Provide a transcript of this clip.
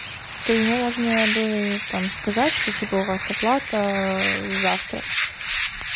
то ему можно было и там сказать что типа у вас оплата завтра